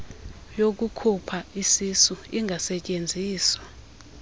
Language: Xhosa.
yokukhupha isisu ingasetyenziswa